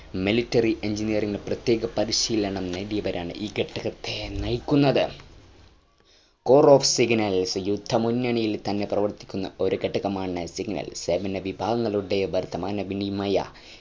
military engineering ഇൽ പ്രത്യേക പരിശീലനം നേടിയവരാണ് ഈ ഘടകത്തെ നയിക്കുന്നത് crop of signals യുദ്ധമുന്നണിയിൽ തന്നെ പ്രവർത്തിക്കുന്ന ഒരു ഘടകമാണ് signals സേന വിഭാഗങ്ങളുടെ വാർത്താമാന വിനിമയ